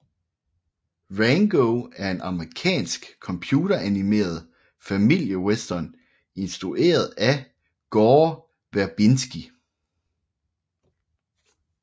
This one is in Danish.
Rango er en amerikansk computeranimeret familiewestern instrueret af Gore Verbinski